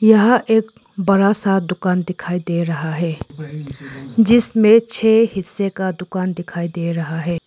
यह एक बड़ा सा दुकान दिखाई दे रहा है। जिसमें छे हिस्से का दुकान दिखाई दे रहा है।